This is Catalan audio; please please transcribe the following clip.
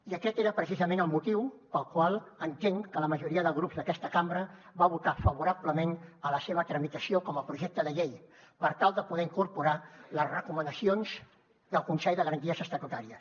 i aquest era precisament el motiu pel qual entenc que la majoria de grups d’aquesta cambra va votar favorablement a la seva tramitació com a projecte de llei per tal de poder hi incorporar les recomanacions del consell de garanties estatutàries